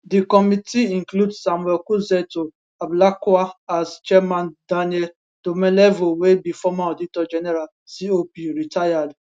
di committee include samuel okudzeto ablakwa as chairman daniel domelevo wey be former auditor general cop rtd